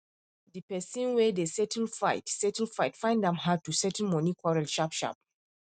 the person wen dey settle fight settle fight find am hard to settle money quarrel sharp sharp